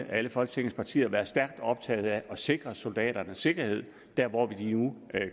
alle folketingets partier været stærkt optaget af at sikre soldaternes sikkerhed der hvor de nu